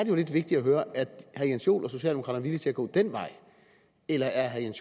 jo lidt vigtigt at høre er herre jens joel og socialdemokraterne villige til at gå den vej eller er herre jens